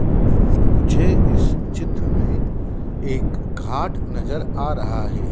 मुझे इस चित्र मे एक घाट नज़र आ रहा है।